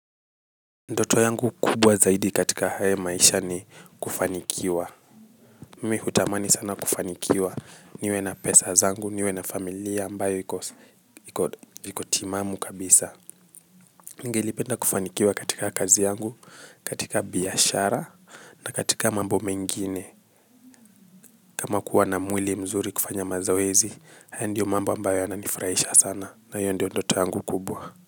Ndoto yangu kubwa zaidi katika haya maisha ni kufanikiwa. Mimi hutamani sana kufanikiwa niwe na pesa zangu, niwe na familia ambayo iko timamu kabisa. Ningelipenda kufanikiwa katika kazi yangu, katika biashara na katika mambo mengine. Kama kuwa na mwili mzuri kufanya mazoezi, haya ndiyo mambo ambayo yananifurahisha sana na hiyo ndiyo ndoto yangu kubwa.